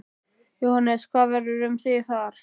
Jóhannes: Hvað verður um þig þar?